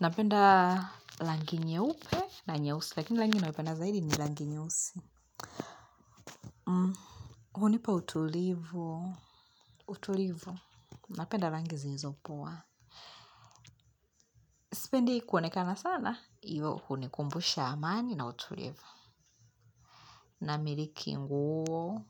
Napenda rangi nyeupe na nyeusi. Lakini rangi nina yopenda zaidi ni rangi nyeusi. Hunipa utulivu. Utulivu. Napenda rangi zilizo poa. Sipendi kuonekana sana hivyo huni kumbusha amani na utulivu. Namiliki nguo.